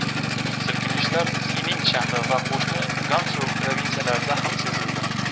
Silkinishlar Sinin shahri va qo‘shni Gansu provinsiyasida ham sezildi.